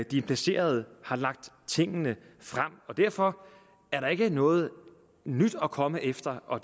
de implicerede har lagt tingene frem derfor er der ikke noget nyt at komme efter og